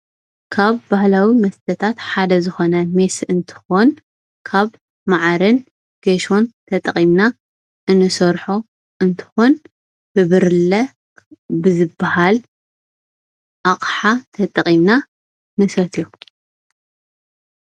ካብ ባህላዊ መስተታት ሓደ ዝኾነ ሜስ እንትኾን ካብ ማዓርን ጌሾን ተጠቒምና እንሰርሖ እንትኾን ብብርለ ብዝባሃል ኣቕሓ ተጠቒምና ንሰትዮ፡፡